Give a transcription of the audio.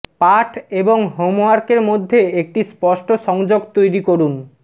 পাঠ এবং হোমওয়ার্কের মধ্যে একটি স্পষ্ট সংযোগ তৈরি করুন